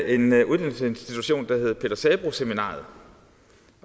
en uddannelsesinstitution der hed peter sabroe seminariet